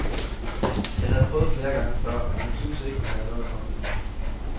Jeg havde prøvet flere gange før, men hun syntes ikke, hun havde noget at komme med.